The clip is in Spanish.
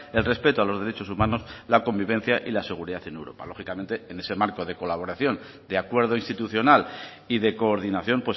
el respeto a los derechos humanos la convivencia y la seguridad en europa lógicamente en ese marco de colaboración de acuerdo institucional y de coordinación